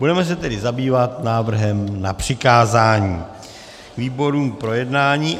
Budeme se tedy zabývat návrhem na přikázání výborům k projednání.